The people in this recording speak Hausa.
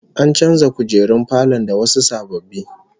An canza kujerun falon da wasu sababbi